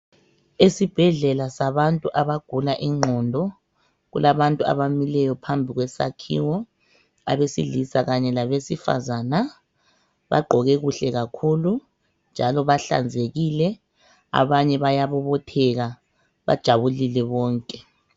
Esibhedlela sabantu abagula ingqondo kulabantu abamileyo phambili kwesakhiwo abesilisa kanye labesifazana. Bagqoke kuhle kakhulu njalo bahlanzekile abanye bayabobotheka bajabulile bonke.